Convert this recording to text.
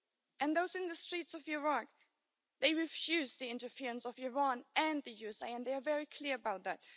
And those in the streets of Iraq, they refused the interference of Iran and the US and they are very clear about that.